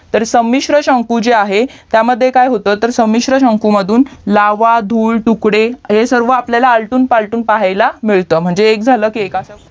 तर समिश्र शंकू जे आहे त्यामध्ये काय होतं तर समिश्र शंकू मधून लावा धूळ तुकडे हे सारवा आपल्याला आलटून पालटून पाहाला मिळतं म्हणजे एक एक झालं की एक